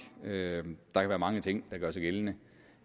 der kan være mange ting der gør sig gældende